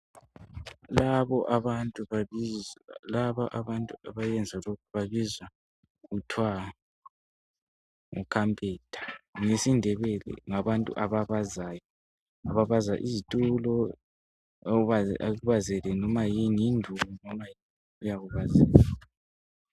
Laba abantu abenza lokhu babizwa kuthiwa ngukhaphenta. NgesiNdebele ngabantu ababazayo. Ababaza izitulo. Akubazele noma yini. Yinduku. noma yini. Uyakubazela.